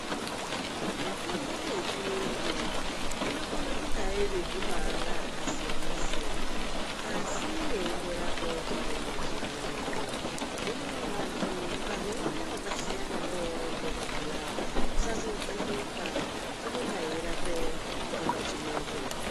Mitombo yechiyungu inokona kunge iri mumaara akasiyanasiyana asi yeindorape chitenda chimwecho hino vantu ukazoone wakasiyane newaimbomwa zviya usazovhunduka inonga yeirape chitenda chimwecho.